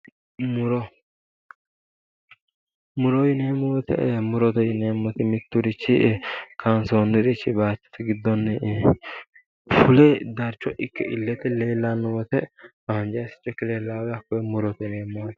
Muro muro yineemmo woyite murote yineemmoti mitturichi kaansoonnirichi baattote giddonni fule darcho ikke illete leellanno woyite hanjaricho ikke leellawo woyite hakkoye murote yineemmo yaate